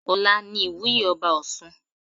Ọla ni ìwúye ọba ọ̀ṣun.